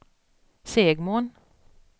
Segmon